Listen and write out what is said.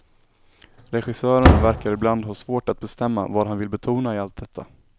Regissören verkar ibland ha svårt att bestämma vad han vill betona i allt detta.